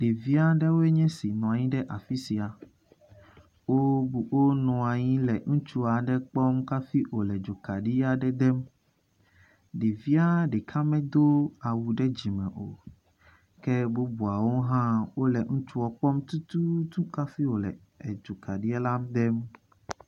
Ɖevi aɖewo nye si nɔ anyi ɖe afi sia. Wonɔ anyi le ŋutsu aɖe kpɔm hafi wò edzo kaɖi aɖe dem. Ɖevia ɖeka medo awu ɖe dzime o, ke bubuawo hã wole ŋutsua kpɔm tututu hafi wòle edzokaɖi la dem.